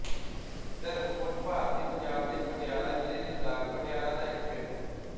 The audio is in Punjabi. ਧਰਮਕੋਟ ਭਾਰਤੀ ਪੰਜਾਬ ਦੇ ਪਟਿਆਲਾ ਜ਼ਿਲ੍ਹੇ ਦੇ ਬਲਾਕ ਪਟਿਆਲਾ ਦਾ ਇੱਕ ਪਿੰਡ ਹੈ